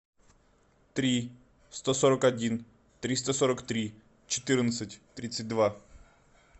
три сто сорок один триста сорок три четырнадцать тридцать два